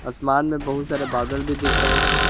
आसमान में बहुत सारे बादल भी दिख रहे हैं।